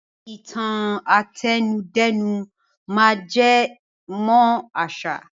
Ìtan àtẹnudẹ́nu máa ń jẹ mọ́ àṣà